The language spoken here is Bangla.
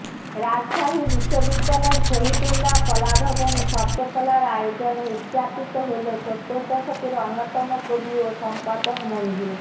রাজশাহী বিশ্ববিদ্যালয়ের শহীদুল্লাহ কলাভবনে শব্দকলার আয়োজনে উযযাপিত হলো সত্তর দশকের অন্যতম কবি ও সম্পাদক মনজু